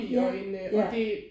Ja ja